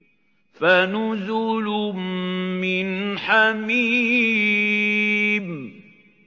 فَنُزُلٌ مِّنْ حَمِيمٍ